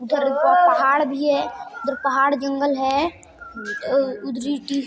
ज ऊपर पहाड़ भी है उधर पहाड़ जगल है उधरी--